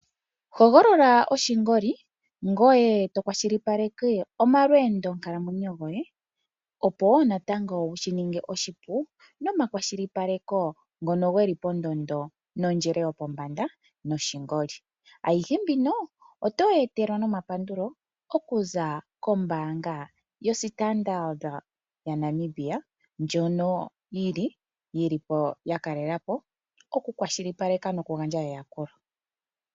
Hogolola oshingoli ngoye to kwashilipaleke omalwendo nkalamwe yo gwohe, opo natango wushininge oshipu nomakwashilipaleko ngono geli pondondo, nondjele yopombanda yoshingoli. Ayishe mbino otoyi etelwa nomapandulo okuza kombanga yo Standard Namibia, ndjono yili oku kwashilipaleka noku gandja eyakulo